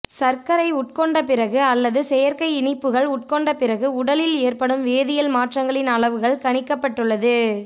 சர்க்கரை உட்கொண்ட பிறகு அல்லது செயற்கை இனிப்புகள் உட்கொண்ட பிறகு உடலில் ஏற்படும் வேதியல் மாற்றங்களின் அளவுகள் கணிக்கப்பட்டுள்ளது